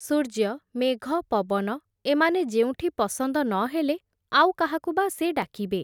ସୂର୍ଯ୍ୟ ମେଘ ପବନ, ଏମାନେ ଯେଉଁଠି ପସନ୍ଦ ନ ହେଲେ, ଆଉ କାହାକୁ ବା ସେ ଡାକିବେ ।